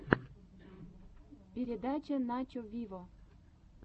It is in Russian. передача начо виво